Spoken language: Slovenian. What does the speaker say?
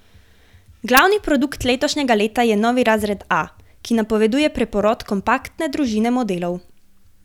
Glavni produkt letošnjega leta je novi razred A, ki napoveduje preporod kompaktne družine modelov.